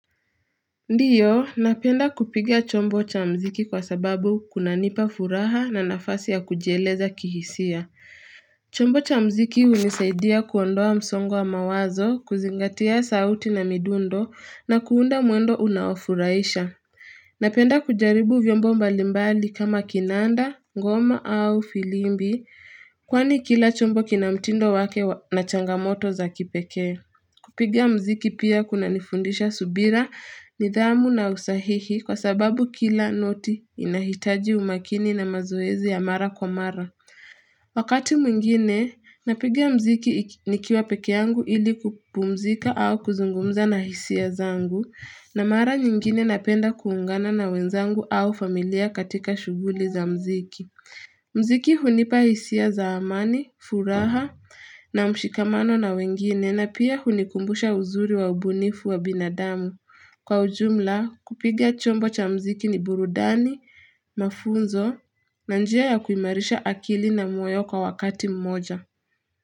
Ndiyo, napenda kupiga chombo cha muziki kwa sababu kunanipa furaha na nafasi ya kujieleza kihisia. Chombo cha muziki hunisaidia kuondoa msongo wa mawazo, kuzingatia sauti na midundo na kuunda mwendo unaofurahisha. Napenda kujaribu vyombo mbalimbali kama kinanda, ngoma au filimbi, kwani kila chombo kina mtindo wake na changamoto za kipekee. Kupiga muziki pia kuna nifundisha subira, nidhamu na usahihi kwa sababu kila noti inahitaji umakini na mazoezi ya mara kwa mara. Wakati mwingine, napiga muziki nikiwa peke yangu ili kupumzika au kuzungumza na hisia zangu, na mara nyingine napenda kuungana na wenzangu au familia katika shughuli za muziki. Muziki hunipa hisia za amani, furaha na mshikamano na wengine na pia hunikumbusha uzuri wa ubunifu wa binadamu. Kwa ujumla kupiga chombo cha muziki ni burudani, mafunzo na njia ya kuimarisha akili na moyo kwa wakati mmoja.